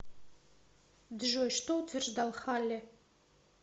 джой что утверждал халле